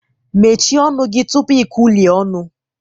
Mechie ọnụ gị tupu ikwulue ọnụ!